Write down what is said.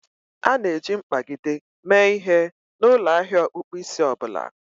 A na-eji mkpagide mee ihe n'ụlọ ahia ọkpụkpụ isi ọ bụla